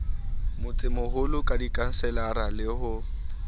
motsemoholo ka dikhanselara le ho